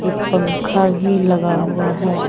एक पंखा भी लगा हुआ है।